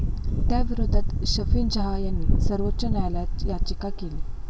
त्याविरोधात शफिन जहा यांनी सर्वोच्च न्यायालयात याचिका केली.